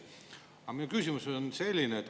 Aga minu küsimus on selline.